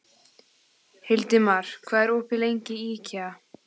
Hildimar, hvað er opið lengi í IKEA?